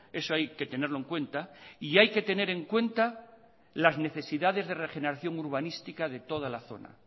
eso hay que tenerlo en cuenta y hay que tener en cuenta las necesidades de regeneración urbanística de toda la zona